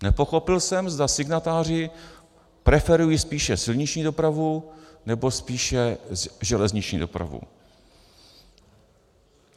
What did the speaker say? Nepochopil jsem, zda signatáři preferují spíše silniční dopravu, nebo spíše železniční dopravu.